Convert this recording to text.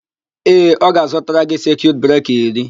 Ee, ọ ga-azụtara gị sekiut breka iri.